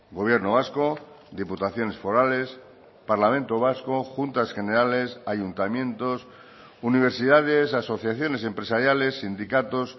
gobierno vasco diputaciones forales parlamento vasco juntas generales ayuntamientos universidades asociaciones empresariales sindicatos